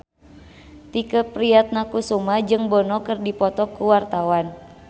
Tike Priatnakusuma jeung Bono keur dipoto ku wartawan